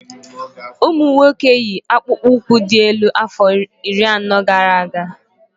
Ụmụ nwoke yi akpụkpọ ụkwụ dị́ elu afọ iri anọ gara aga